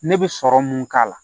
Ne bɛ sɔrɔ mun k'a la